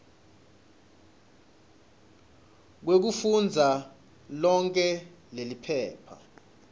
kwekufundza lonkhe leliphepha